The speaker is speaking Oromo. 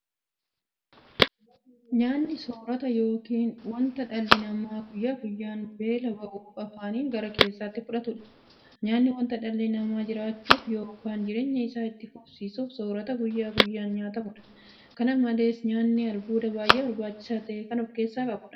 Nyaanni soorota yookiin wanta dhalli namaa guyyaa guyyaan beela ba'uuf afaaniin gara keessaatti fudhatudha. Nyaanni wanta dhalli namaa jiraachuuf yookiin jireenya isaa itti fufsiisuuf soorata guyyaa guyyaan nyaatamudha. Kana malees nyaanni albuuda baay'ee barbaachisaa ta'e kan ofkeessaa qabudha.